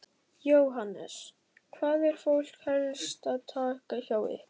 Jóhannes: Hvað er fólk helst að taka hjá ykkur?